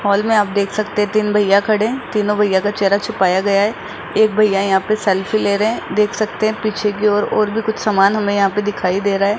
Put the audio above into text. हाल में आप देख सकते तीन भैया खड़े है तीनों भैया का चेहरा छुपाया गया है एक भैया यहां पर सेल्फी ले रहे हैं देख सकते हैं पीछे की ओर और भी कुछ सामान हमें यहां पर दिखाई दे रहा है।